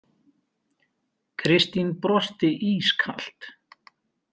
Kristín brosti ískalt.